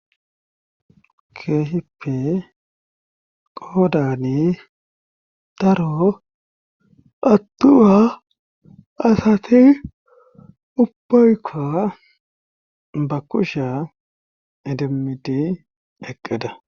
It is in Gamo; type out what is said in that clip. Keehippe qoodani daro attuha asati ubbaykka ba kusha idimidi eqqeda.